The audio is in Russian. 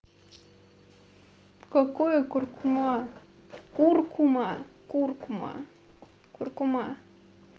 какое куркума куркума куркума куркума